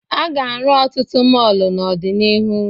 A ga-arụ ọtụtụ mọọlụ n'ọdịnihu.